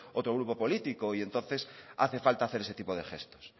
otro grupo políticos y entonces hace falta hacer ese tipo de gestos